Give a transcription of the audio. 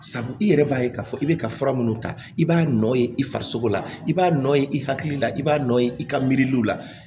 Sabu i yɛrɛ b'a ye k'a fɔ i bɛ ka fura minnu ta i b'a nɔ ye i farisogo la i b'a nɔ ye i hakili la i b'a nɔ ye i ka miiriw la